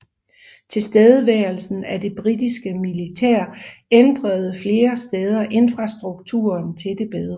Tilstedeværelsen af det britiske militær ændrede flere steder infrastrukturen til det bedre